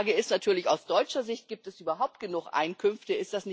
Frage ist natürlich aus deutscher Sicht Gibt es überhaupt genug Einkünfte?